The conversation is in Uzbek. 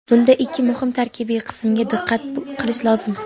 bunda ikki muhim tarkibiy qismga diqqat qilish lozim.